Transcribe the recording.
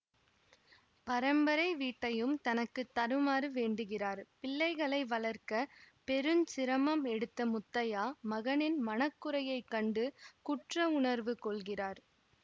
பரம்பரை வீட்டையும் தனக்கு தருமாறு வேண்டுகிறார் பிள்ளைகளை வளர்க்க பெருஞ்சிரமம் எடுத்த முத்தையா மகனின் மனக்குறையை கண்டு குற்ற உணர்வு கொள்கிறார்